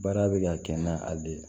Baara bɛ ka kɛ na hali de